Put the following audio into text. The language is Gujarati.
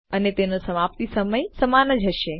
અને તેનો સમાપ્તિ સમય સમાન જ હશે